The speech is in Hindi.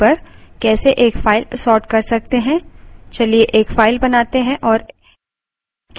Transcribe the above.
अब हम देखेंगे कि किसी column के आधार पर कैसे एक फाइल sort कर सकते हैं